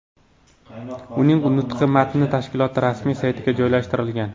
Uning nutqi matni tashkilot rasmiy saytiga joylashtirilgan.